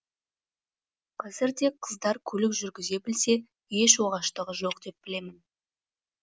қазірде қыздар көлік жүргізе білсе еш оғаштығы жоқ деп білемін